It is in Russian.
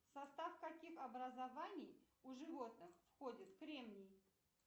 в состав каких образований у животных входит кремний